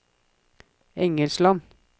Engesland